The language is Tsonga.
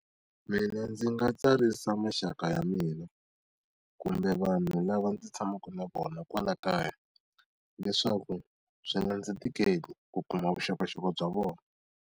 Mina ndzi nga tsarisa maxaka ya mina, kumbe vanhu lava ndzi tshamaka na vona kwala kaya. Leswaku byi nga ndzi tikeli ku kuma vuxokoxoko bya vona.